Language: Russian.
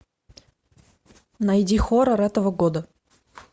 найди хоррор этого года